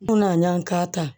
N na ka taa